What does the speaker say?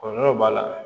Kɔlɔlɔ b'a la